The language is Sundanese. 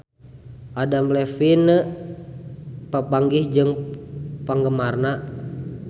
Adam Levine papanggih jeung penggemarna